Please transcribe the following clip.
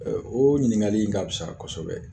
o ɲiniŋali in ka fisa kɔsɛbɛ